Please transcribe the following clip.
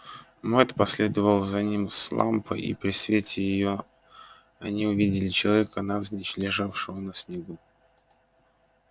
мэтт последовал за ним с лампой и при свете её они увидели человека навзничь лежавшего на снегу